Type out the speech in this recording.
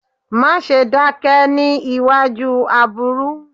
Má ṣe dákẹ́ níewájú aburú.